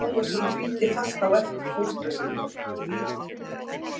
Ólafur Tómasson fylgdi fast á eftir fóstra sínum.